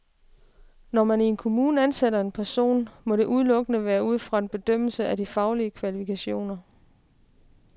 Når man i en kommune ansætter en person, må det udelukkende være ud fra en bedømmelse af de faglige kvalifikationer.